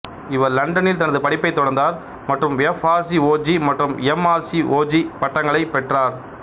இவர் லண்டனில் தனது படிப்பைத் தொடர்ந்தார் மற்றும் எஃப் ஆர்சிஓஜி மற்றும் எம் ஆர்சிஓஜி பட்டங்களைப் பெற்றார்